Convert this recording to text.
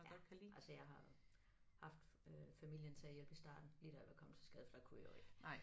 Ja altså jeg har haft øh familien til at hjælpe i starten lige da jeg var kommet til skade for der kunne jeg jo ikke